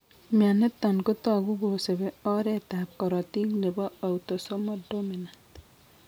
Mianitani kotagu kosubi oret ab korotik nebo autosomal dominant